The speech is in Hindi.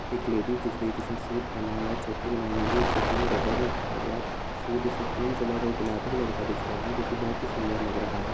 एक लेडीज़ दिख रही है जिसने सूट पहना हुआ है चोटी बनाई हुई है चोटी में रबर लगाया हुआ है सूट उसका क्रीम कलर और गुलाबी कलर का दिख रहा है जोकि बहुत सुंदर लग रहा है।